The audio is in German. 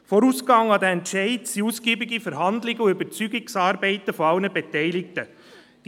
Diesem Entscheid sind ausgiebige Verhandlungen und Überzeugungsarbeit aller Beteiligten vorausgegangen.